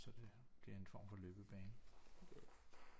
Så det bliver en form for løbebane